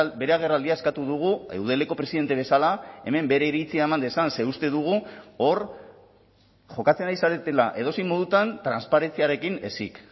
bere agerraldia eskatu dugu eudeleko presidente bezala hemen bere iritzia eman dezan ze uste dugu hor jokatzen ari zaretela edozein modutan transparentziarekin ezik